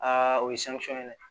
o ye ye dɛ